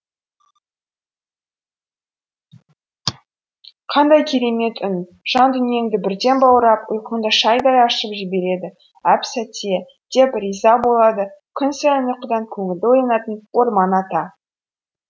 қандай керемет үн жан дүниеңді бірден баурап ұйқыңды шайдай ашып жібереді әп сәтте деп риза болады күн сайын ұйқыдан көңілді оянатын орман ата